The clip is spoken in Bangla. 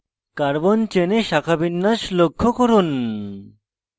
carbon চেনে শাখাবিন্যাস লক্ষ্য করুন